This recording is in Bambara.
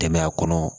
Dɛmɛya kɔnɔ